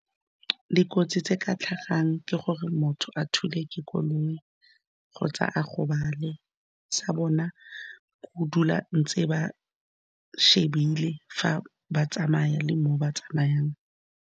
Dikotsi tse di ka tlhagang ke gore motho a thulwe ke koloi, kgotsa a gobale, sa bona go dula ntse ba shebile fa ba tsamaya le mo ba tsamayang.